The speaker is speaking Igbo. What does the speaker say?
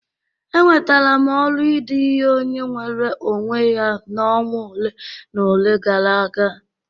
Enwetara m ọrụ ide ihe onye nweere onwe ya na ọnwa ole na ole gara aga.